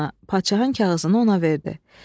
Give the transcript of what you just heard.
Padşahın kağızını ona verdi.